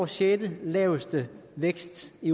sjette laveste vækst i